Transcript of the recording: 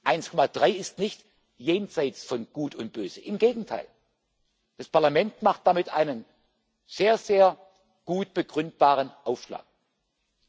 1,3 ist nicht jenseits von Gut und Böse, im Gegenteil. Das Parlament schlägt damit einen sehr, sehr gut begründbaren Aufschlag